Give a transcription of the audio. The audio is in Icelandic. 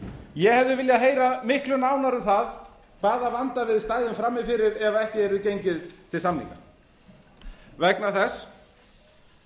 ég hefði viljað heyra miklu nánar um það hvaða vanda við stæðum frammi fyrir ef ekki yrði gengið til samninga vegna þess